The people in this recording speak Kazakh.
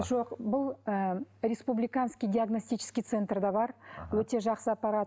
жоқ бұл ы республиканский диагностический центрде бар өте жақсы аппарат